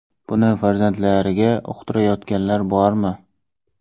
Buni farzandlariga uqtirayotganlar bormi?